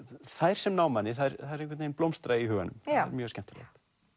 þær sem ná manni þær einhvern veginn blómstra í huganum mjög skemmtilegt